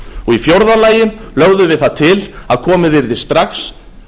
í fjórða lagi lögðum við það til að komið yrði strax